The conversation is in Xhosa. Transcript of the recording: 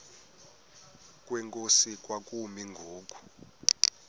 kwenkosi kwakumi ngoku